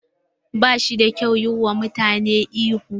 Ba shi da kyau yi wa mutane ihu.